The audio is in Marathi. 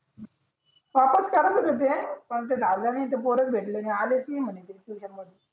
ते गावले नि ते पोरच भेटले नि आलेच नि म्हणे ते ट्युशन मढी